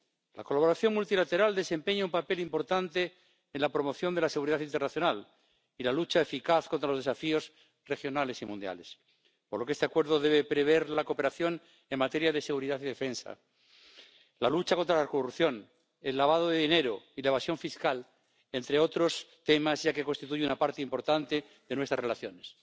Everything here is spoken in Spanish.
La colaboración multilateral desempeña un papel importante en la promoción de la seguridad internacional y la lucha eficaz contra los desafíos regionales y mundiales, por lo que este Acuerdo debe prever la cooperación en materia de seguridad y defensa, la lucha contra la corrupción, el lavado de dinero y la evasión fiscal, entre otros temas, ya que constituye una parte importante de nuestras relaciones.